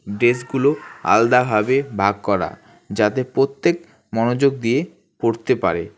ডেস্কগুলো আলাদাভাবে ভাগ করা যাতে প্রত্যেক মনোযোগ দিয়ে পড়তে পারে।